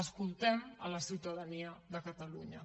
escoltem la ciutadania de catalunya